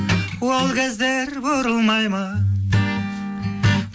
ол кездер бұрылмай ма